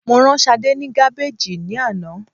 Mo rán Sadé ni Gabbage ni ana